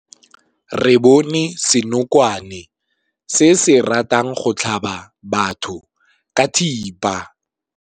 Re bone senokwane se se ratang go tlhaba batho ka thipa.